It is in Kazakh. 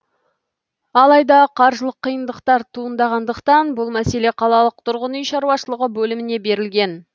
алайда қаржылық қиындықтар туындағандықтан бұл мәселе қалалық тұрғын үй шаруашылығы бөліміне берілген